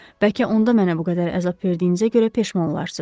Bəlkə onda mənə bu qədər əzab verdiyinizə görə peşman olarsız.